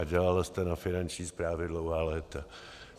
A dělala jste na Finanční správě dlouhá léta.